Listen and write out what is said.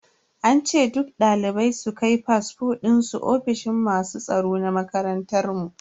An ce duk dalibai su kai fasfo dinsu ofishin masu tsaro na makarantar mu.